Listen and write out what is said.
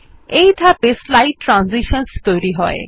এই ধাপে স্লাইড ট্রানজিশনসহ তৈরী হয়